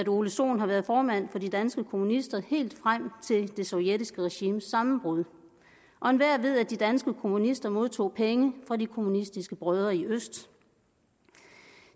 ole sohn har været formand for de danske kommunister helt frem til det sovjetiske regimes sammenbrud og enhver ved at de danske kommunister modtog penge fra de kommunistiske brødre i øst